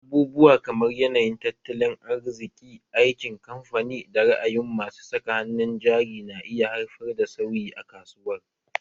Abubuwa kamar yanayin tattalin arziki, aikin kamfani, da ra'ayin masu saka hannun jari na iya haifar da sauyi a kasuwar